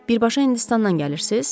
Birbaşa Hindistandan gəlirsiz?